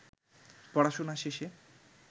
পড়াশুনা শেষে